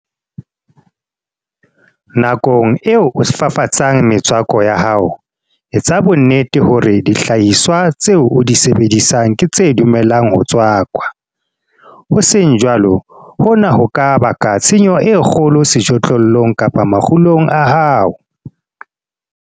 Nakong eo o fafatsang metswako ya hao, etsa bonnete hore dihlahiswa tseo o di sebedisang ke tse dumelang ho tswakwa. Ho seng jwalo, hona ho ka baka tshenyo e kgolo sejothollong kapa makgulong a hao.